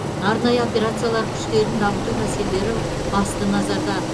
арнайы операциялар күштерін дамыту мәселелері басты назарда